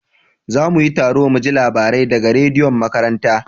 Za mu yi taro muji labarai da ga rediyon makaranta